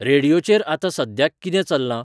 रेडीयोचेर आतां सद्याक कितें चल्लां